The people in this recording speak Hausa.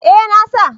Eh na sa